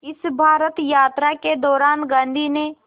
इस भारत यात्रा के दौरान गांधी ने